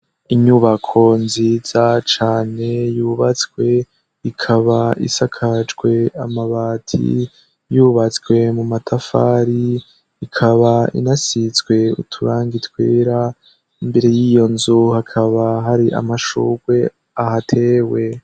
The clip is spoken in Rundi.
Inyubako nziza cane yubatswe ikaba isakajwe amabati yubatswe mu matafari ikaba inasizwe uturangi twera. Imbere y'iyo nzu hakaba hari amashurwe ahatewe.